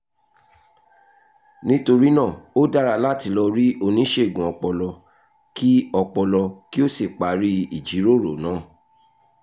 nítorí náà ó dára láti lọ rí oníṣègùn ọpọlọ kí ọpọlọ kí o sì parí ìjíròrò náà